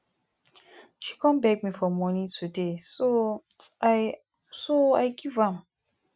she come beg me for money today so i so i give am